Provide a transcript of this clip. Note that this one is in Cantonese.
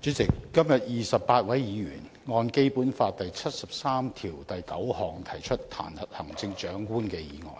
主席，今天28位議員按照《基本法》第七十三條第九項提出彈劾行政長官的議案，